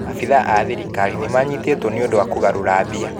Abithaa a thirikari nĩ manyitĩtwo nĩũndũ wa kũgarũra mbia